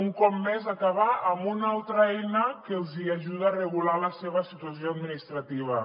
un cop més acabar amb una altra eina que els ajuda a regular la seva situació administrativa